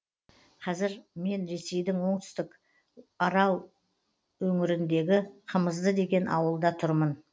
қазір мен ресейдің оңтүстік орал өңіріндегі қымызды деген ауылда тұрмын